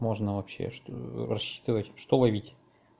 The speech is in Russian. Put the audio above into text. можно вообще что рассчитывать что ловить